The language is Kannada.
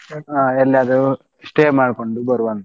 ಹಾ ಎಲ್ಲಾದರು stay ಮಾಡ್ಕೊಂಡು ಬರುವಾಂತ.